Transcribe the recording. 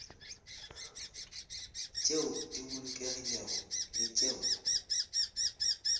tšeo di bolokegilego le tšeo